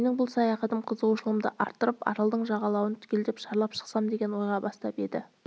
менің бұл саяхатым қызығушылығымды арттырып аралдың жағалауын түгел шарлап шықсам деген ойға бастап еді